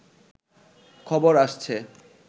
খবর আসছে